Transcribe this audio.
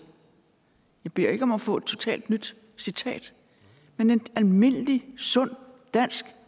jeg beder ikke om at få et totalt nyt citat men en almindelig sund dansk